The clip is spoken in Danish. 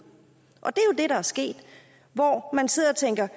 det er der er sket og man sidder og tænker